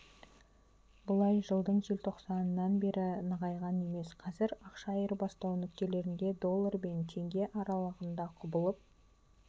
бұлай жылдың желтоқсанынан бері нығайған емес қазір ақша айырбастау нүктелерінде доллар бен теңге аралығында құбылып